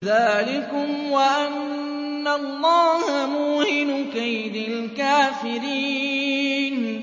ذَٰلِكُمْ وَأَنَّ اللَّهَ مُوهِنُ كَيْدِ الْكَافِرِينَ